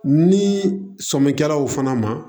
Ni sɔnnikɛlaw fana ma